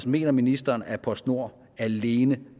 mener ministeren at postnord alene